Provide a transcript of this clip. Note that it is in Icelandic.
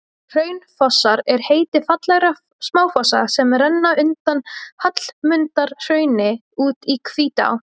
Hraunfossar er heiti fallegra smáfossa sem renna undan Hallmundarhrauni út í Hvítá.